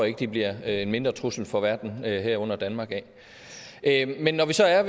ikke de bliver en mindre trussel for verden herunder danmark af men når vi så er